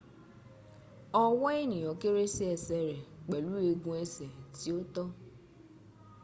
ọwọ́ ènìyàn kéré sí ẹsẹ̀ rẹ̀ pẹlù eegun ẹsẹ̀ tí ó tọ́